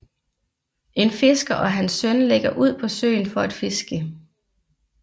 En fisker og hans søn lægger ud på søen for at fiske